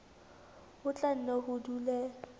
ho tla nne ho dule